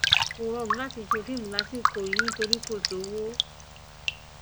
kò rọrùn láti ṣe fíìmù lásìkò yìí nítorí kò sówó